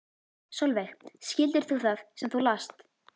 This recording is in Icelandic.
Sólveig: Skildir þú það sem þú last?